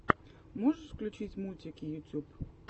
можешь включить мультики ютюб